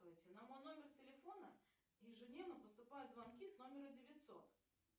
на мой номер телефона ежедневно поступают звонки с номера девятьсот